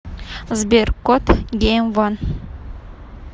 сбер кот гейм ван